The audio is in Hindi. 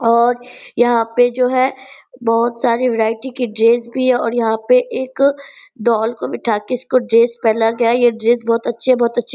और यहाँ पे जो है बहुत सारी वैरायटी की ड्रेस भी है और यहाँ पे एक डॉल को बिठा के उसको ड्रेस पहनाया गया है ये ड्रेस बहुत अच्छे है बहुत अच्छे --